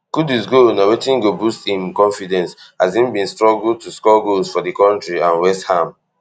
kudus goal na wetin go boost im confidence as im bin struggle to score goals for di kontri and westham